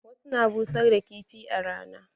Wasu na busar da kifi a rana.